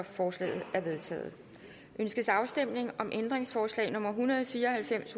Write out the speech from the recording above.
forslaget er vedtaget ønskes afstemning om ændringsforslag nummer en hundrede og fire og halvfems